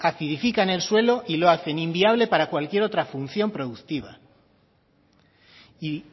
acidifican el suelo y lo hacen inviables para cualquier otra función productiva y